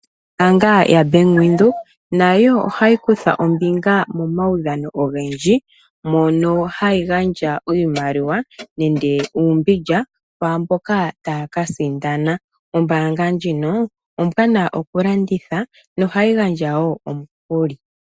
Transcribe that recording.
Ombaanga yaBank Windhoek, nayo ohayi kutha ombinga momaudhano ogendji, mono hayi gandja iimaliwa, nenge uumbindja kwaamboka taya kasindana. Ombaanga ndjino ombwaanawa okulongitha, nohayi gandja wo omikuli.